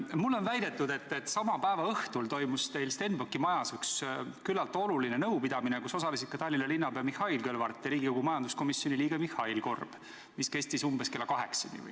Mulle on väidetud, et sama päeva õhtul toimus teil Stenbocki majas üks võrdlemisi oluline nõupidamine, kus osalesid Tallinna linnapea Mihhail Kõlvart ja Riigikogu majanduskomisjoni liige Mihhail Korb ning mis kestis umbes kella kaheksani.